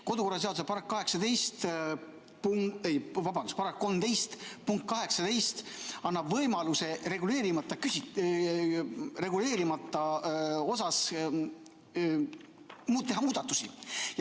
Kodu- ja töökorra seaduse § 13 punkt 18 annab võimaluse reguleerimata küsimuste puhul teha muudatusi.